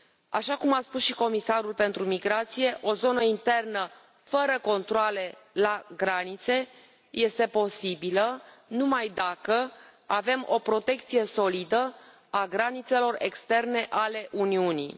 Așa cum a spus și comisarul pentru migrație, o zonă internă fără controale la granițe este posibilă numai dacă avem o protecție solidă a granițelor externe ale Uniunii.